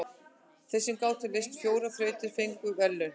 Þeir sem gátu leyst fjórar þrautir fengu verðlaun.